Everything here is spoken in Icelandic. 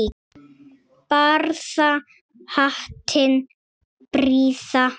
Barða hattinn prýða má.